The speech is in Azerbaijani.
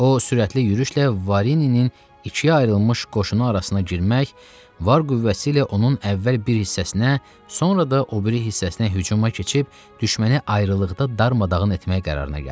O, sürətli yürüşlə Varinin ikiyə ayrılmış qoşunu arasına girmək, var qüvvəsi ilə onun əvvəl bir hissəsinə, sonra da o biri hissəsinə hücuma keçib düşməni ayrı-ayrılıqda darmadağın etmək qərarına gəldi.